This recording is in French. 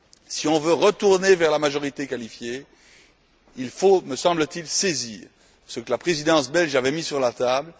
Si on veut retourner vers la majorité qualifiée, il faut, me semble t il saisir ce que la Présidence belge avait mis sur la table.